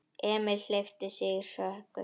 Emil hleypti í sig hörku.